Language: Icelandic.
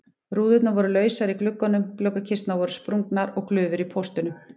Rúðurnar voru lausar í gluggunum, gluggakisturnar voru sprungnar og glufur í póstunum.